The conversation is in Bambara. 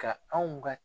Ka anw ka